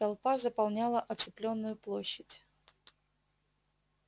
толпа заполняла оцепленную площадь